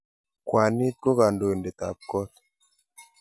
Kwanit ko kandoindet ab kot